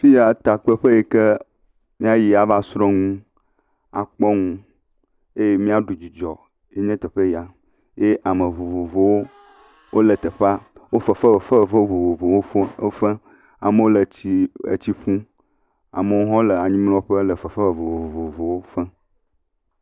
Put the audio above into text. Fi yaa, takpekpe yi ke míayi ava srɔ̃ nu, akpɔ nu eye míaɖu dzidzɔe nye teƒe ya, ye ame vovovowo wole teƒea. Wole fefe, fefe vovovowo fem, efem. Amewo le tsii, etsi ƒum, amewo hã le anyimlɔƒe le fefe vovovowo fem.